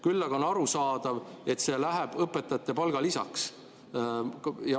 Küll aga on arusaadav, et see läheb õpetajate palgalisaks.